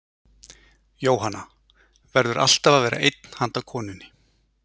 Jóhanna: Verður alltaf að vera einn handa konunni?